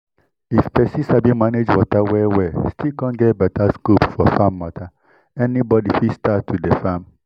if pesin sabi manage water well well still com get beta scope for farm mata any body fit start to dey farm